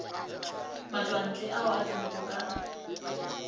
matšwantle ao a tsenego ka